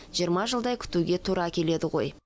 жиырма жылдай күтуге тура келеді ғой